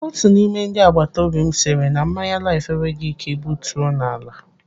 Otu n'ime ndị agbataobi m sịrị na mmanya Laif enweghị ike butuo n'ala.